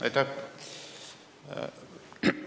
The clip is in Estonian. Aitäh!